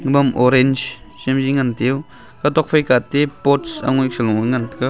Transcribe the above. pam orange chemji ngan tiu katok phaika tip pot angoi threngo engan taiga.